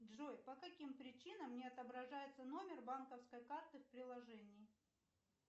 джой по каким причинам не отображается номер банковской карты в приложении